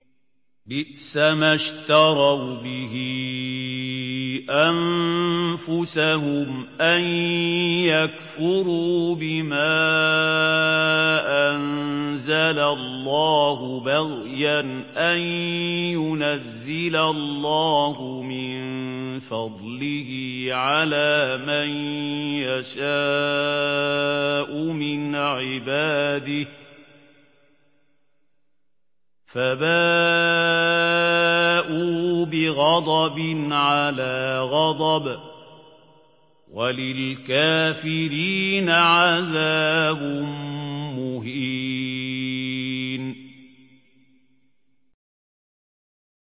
بِئْسَمَا اشْتَرَوْا بِهِ أَنفُسَهُمْ أَن يَكْفُرُوا بِمَا أَنزَلَ اللَّهُ بَغْيًا أَن يُنَزِّلَ اللَّهُ مِن فَضْلِهِ عَلَىٰ مَن يَشَاءُ مِنْ عِبَادِهِ ۖ فَبَاءُوا بِغَضَبٍ عَلَىٰ غَضَبٍ ۚ وَلِلْكَافِرِينَ عَذَابٌ مُّهِينٌ